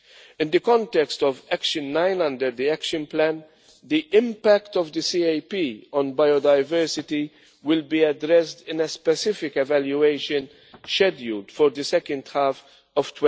In the context of Action 9 under the Action Plan, the impact of the CAP on biodiversity will be addressed in a specific evaluation scheduled for the second half